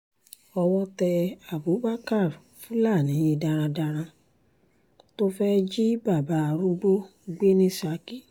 owó tẹ abubakar fúlàní darandaran tó fẹ́ẹ̀ jí bàbá arúgbó gbé ní saki